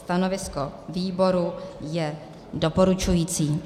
Stanovisko výboru je doporučující.